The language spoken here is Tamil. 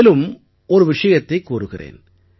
மேலும் ஒரு விஷயத்தைக் கூறுகிறேன்